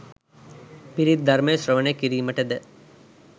පිරිත් ධර්මය ශ්‍රවණය කිරීමටද